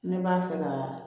Ne b'a fɛ ka